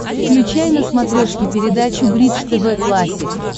включай на смотрешке передачу бридж тв классик